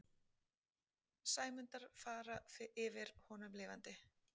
Sæmundar fara yfir honum lifandi.